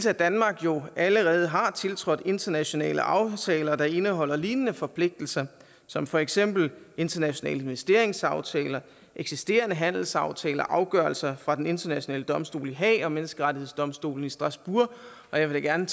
at danmark jo allerede har tiltrådt internationale aftaler der indeholder lignende forpligtelser som for eksempel internationale investeringsaftaler eksisterende handelsaftaler afgørelser fra den internationale domstol i haag og menneskerettighedsdomstolen i strasbourg og jeg vil gerne